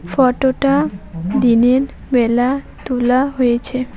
Photo -টা দিনের বেলা তোলা হয়েছে।